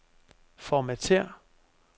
Formatér.